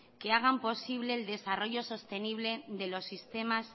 que hagan posible el desarrollo sostenible de los sistemas